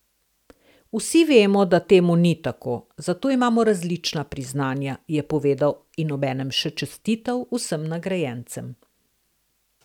Vsi vemo, da temu ni tako, zato imamo različna priznanja, je povedal in obenem še čestital vsem nagrajencem.